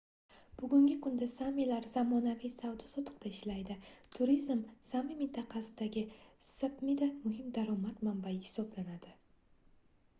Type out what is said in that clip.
bugungi kunda saamilar zamonaviy savdo-sotiqda ishlaydi turizm saami mintaqasidagi sapmida muhim daromad manbai hisoblanadi